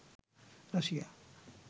Russia